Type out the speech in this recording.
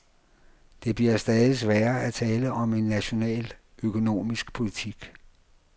Det bliver stadig sværere at tale om en national økonomisk politik.